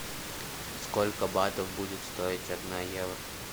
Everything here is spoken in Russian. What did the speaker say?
сколько батов будет стоить одна евро